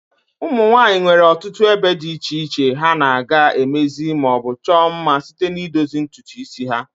Ụmụnwanyi nwere ọtụtụ ebe di iche iche ha na/aga emezi ma o bu chuo mma site n'idozi ntutu isi ha.